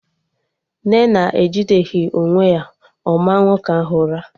Nnenna ejideghi onwe ya, ọ maa nwoke ahụ ụra